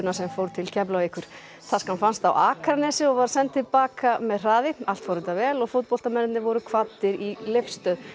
sem fór til Keflavíkur fannst á Akranesi og var hún send til baka með hraði allt fór þetta vel og voru kvaddir í leifstöð